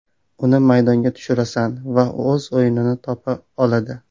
Uni maydonga tushirasan va u o‘z o‘yinini topib oladi.